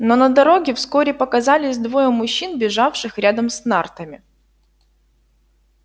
но на дороге вскоре показались двое мужчин бежавших рядом с нартами